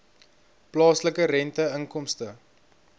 plaaslike rente inkomste